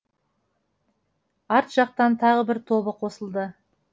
арт жақтан тағы бір тобы қосылды